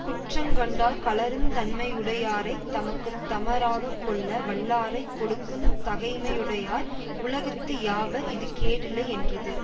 குற்றங் கண்டால் கழறுந் தன்மை யுடையாரைத் தமக்கு தமராகக் கொள்ள வல்லாரைக் கெடுக்குந் தகைமையுடையார் உலகத்து யாவர் இது கேடில்லை யென்றது